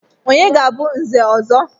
Onye ga-abụ Nze ọzọ?